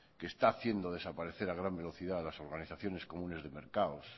que está haciendo desaparecer a gran velocidad las organizaciones comunes de mercados